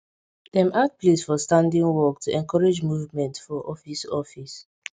dem add place for standing work to encourage movement for office office